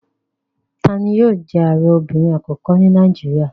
Tani yóò jẹ́ Ààrẹ obìnrin àkọ́kọ́ ní Nàìjíríà?